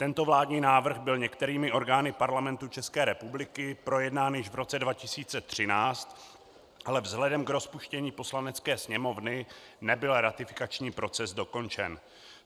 Tento vládní návrh byl některými orgány Parlamentu České republiky projednán již v roce 2013, ale vzhledem k rozpuštění Poslanecké sněmovny nebyl ratifikační proces dokončen.